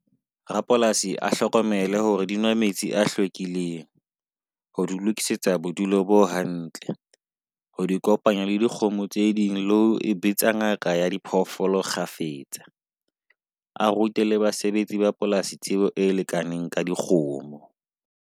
Rapolasi a hlokomele hore di nwa metsi a hlwekileng ho di lokisetsa bodulo bo hantle. Ho di kopanya le dikgomo tse ding, le ho e bitsa ngaka ya diphoofolo kgafetsa. A rute le basebetsi ba polasi, tsebo e lekaneng ka dikgomo.